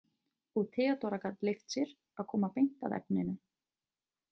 Og Theodóra gat leyft sér að koma beint að efninu.